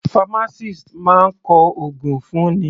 Pharmacist máa kọ ògùn fún ni.